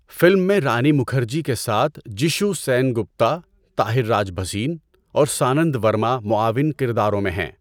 Film میں رانی مکھرجی کے ساتھ جشو سینگپتا، طاہر راج بھسین اور سانند ورما معاون کرداروں میں ہیں۔